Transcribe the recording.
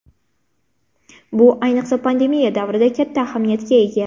Bu, ayniqsa, pandemiya davrida katta ahamiyatga ega.